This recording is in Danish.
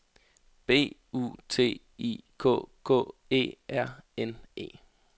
B U T I K K E R N E